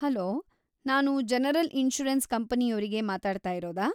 Hello, ನಾನು general insurance ಕಂಪನಿಯೋರಿಗೆ ಮಾತಾಡ್ತಾಯಿರೋದಾ?